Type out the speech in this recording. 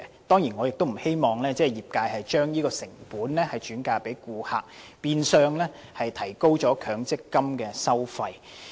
當然我亦不希望業界將有關成本轉嫁顧客，變相提高強積金的收費。